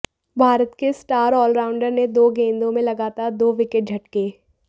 भारत के इस star allrounder ने दो गेंदों में लगातार दो विकेट झटके